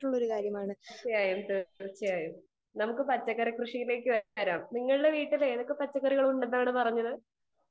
Speaker 2 തീർച്ചയായും തീർച്ചയായും നമുക്ക് പച്ചക്കറി കൃഷിയിലേക്ക് തന്നെ വരാം . നിങ്ങളുടെ വീട്ടിൽ ഏതൊക്കെ പച്ചക്കറി കൃഷി ഉണ്ടെന്നാണ് പറഞ്ഞത്